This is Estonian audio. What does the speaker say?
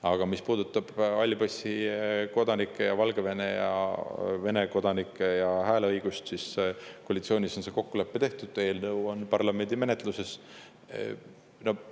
Aga mis puudutab halli passi omanike ja Valgevene ja Vene kodanike hääleõigust, siis koalitsioonis on see kokkulepe tehtud, eelnõu on parlamendi menetluses.